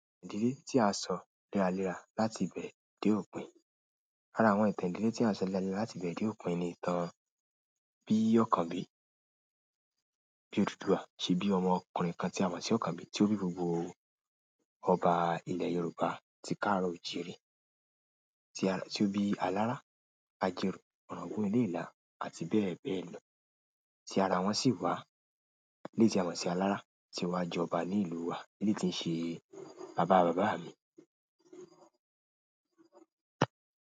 Ìdílé tí a sọ léraléra láti ibẹ̀ dé òpin. Lára àwọn ìtàn ìdílé tí à ń sọ léraléra láti ìbẹ̀rẹ̀ dé òpin ni ìtàn bí Ọ̀kànbí Odùduwà ṣe bí ọmọkùnrin kan tí a mọ̀ sí Ọ̀kànbí tí ó bí gbogbo ọba ilẹ̀ Yorùbá tí káàrò oò jíire, tí ó bí Alárá, Ajerò, Ọ̀ràngún Ilé-ìlá àti bẹ́ẹ̀ bẹ́ẹ̀ lọ. Tí ara wọn sì wá. Eléyìí tí a mọ̀ sí Alárá tí ó wá jọba ní ìlú wa. Eléyìí tí ń ṣe bàbá bàbá mi.